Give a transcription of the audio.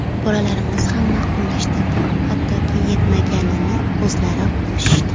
Bolalarimiz ham ma’qullashdi, hattoki yetmaganini o‘zlari qo‘shishdi.